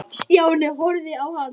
Stjáni horfði á hann.